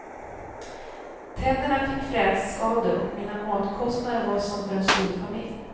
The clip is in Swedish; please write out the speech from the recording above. Tänderna fick frätskador och mina matkostnader var som för en storfamilj.